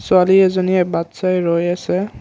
ছোৱালী এজনীয়ে বাট চাই ৰৈ আছে।